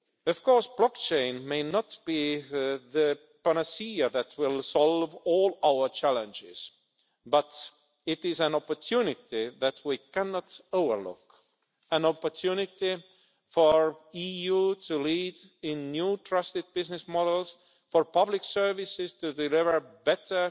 Of course blockchain may not be the panacea that will solve all our challenges, but it is an opportunity that we cannot overlook an opportunity for the EU to lead in new trusted business models and for public services to deliver better,